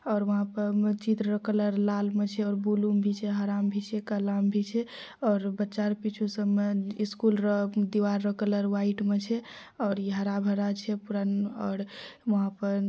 और वहां पर मस्जिद र लाल मे छै और ब्लू मे भी छै हरा मे भी छै काला मे भी छै और बच्चा आर पीछू सब मे इस स्कूल र दीवार कलर व्हाइट में छै और पूरा हरा-भरा छै और पूरा वहां पर